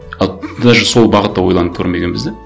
ал даже сол бағытта ойланып көрмегенбіз де